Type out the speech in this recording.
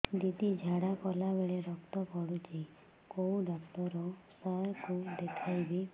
ଦିଦି ଝାଡ଼ା କଲା ବେଳେ ରକ୍ତ ପଡୁଛି କଉଁ ଡକ୍ଟର ସାର କୁ ଦଖାଇବି